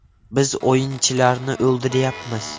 Biz o‘yinchilarni o‘ldiryapmiz.